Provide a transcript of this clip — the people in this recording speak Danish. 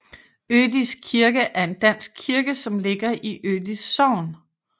Ødis kirke er en dansk kirke som ligger i Ødis Sogn